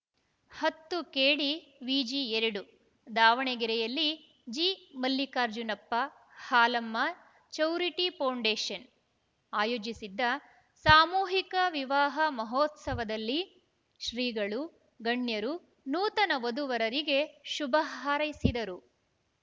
ಹತ್ತು ಕೆಡಿವಿಜಿ ಎರಡು ದಾವಣಗೆರೆಯಲ್ಲಿ G Mallikarjunappa Halamma charity foundation ಆಯೋಜಿಸಿದ್ದ ಸಾಮೂಹಿಕ ವಿವಾಹ ಮಹೋತ್ಸವದಲ್ಲಿ ಶ್ರೀಗಳು ಗಣ್ಯರು ನೂತನ ವಧುವರರಿಗೆ ಶುಭ ಹಾರೈಸಿದರು